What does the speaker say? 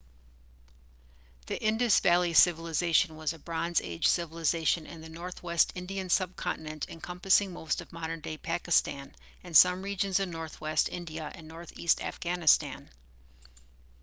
the indus valley civilization was a bronze age civilisation in the northwest indian subcontinent encompassing most of modern-day pakistan and some regions in northwest india and northeast afghanistan